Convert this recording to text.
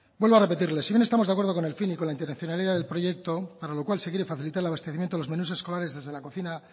vuelvo a repetirle si hoy no estamos de acuerdo con el fin y con la intencionalidad del proyecto para lo cual se quiere facilitar el abastecimiento de los menús escolares desde la cocina